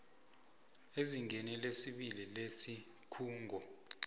ezingeni lesibili lesikhungo